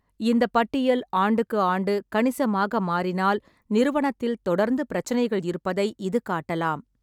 இந்தப் பட்டியல் ஆண்டுக்கு ஆண்டு கணிசமாக மாறினால், நிறுவனத்தில் தொடர்ந்து பிரச்சினைகள் இருப்பதை இது காட்டலாம்.